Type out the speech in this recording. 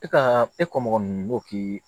E ka e kɔ mɔgɔ nunnu b'o k'i